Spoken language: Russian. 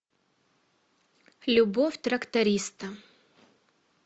любовь тракториста